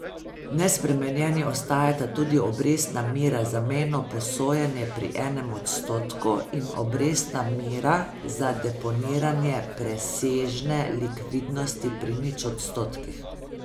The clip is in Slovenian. Nespremenjeni ostajata tudi obrestna mera za mejno posojanje pri enem odstotku in obrestna mera za deponiranje presežne likvidnosti pri nič odstotkih.